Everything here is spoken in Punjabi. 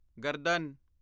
ਗਰਦਨ